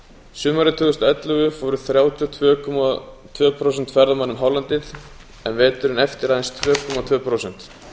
sumarið tvö þúsund og ellefu fóru þrjátíu og tvö komma tvö prósent ferðamanna um hálendið en veturinn eftir aðeins tvö komma tvö prósent